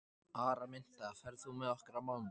Araminta, ferð þú með okkur á mánudaginn?